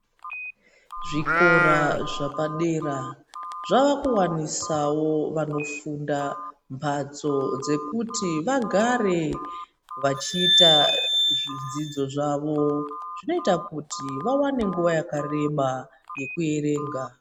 Zvikora zvapadera zvakuwanisawo vanofunda mhatso dzekuti vagare vachiita zvidzidzo zvawo zvinoita kuti vawane nguwa yakareba yekuerenga.